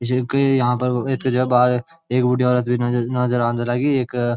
ये क्वि यहां पर इतगा जगा बाहर एक बूढी औरत बि नजर नाजर आंद लगी इक।